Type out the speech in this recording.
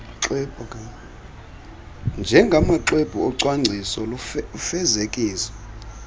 njengamaxwebhu ocwangciso lufezekiso